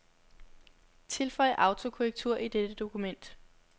Tilføj autokorrektur i dette dokument.